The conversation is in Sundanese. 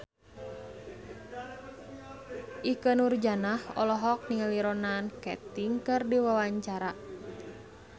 Ikke Nurjanah olohok ningali Ronan Keating keur diwawancara